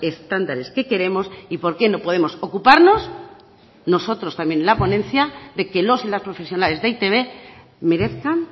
estándares que queremos y por qué no podemos ocuparnos nosotros también en la ponencia de que los y las profesionales de e i te be merezcan